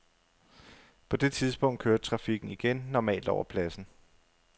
På det tidspunkt kørte trafikken igen normalt over pladsen.